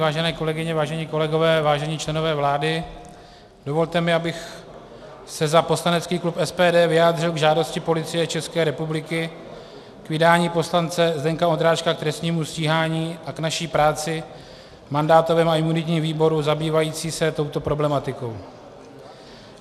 Vážené kolegyně, vážení kolegové, vážení členové vlády, dovolte mi, abych se za poslanecký klub SPD vyjádřil k žádosti Policie České republiky k vydání poslance Zdeňka Ondráčka k trestnímu stíhání a k naší práci v mandátovém a imunitním výboru zabývající se touto problematikou.